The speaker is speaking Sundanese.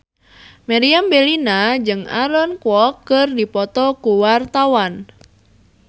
Meriam Bellina jeung Aaron Kwok keur dipoto ku wartawan